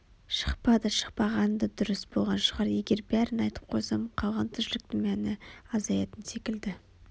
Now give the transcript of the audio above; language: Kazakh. шықпады шықпағаны да дұрыс болған шығар егер бәрін айтып қойсам қалған тіршіліктің мәні азаятын секілді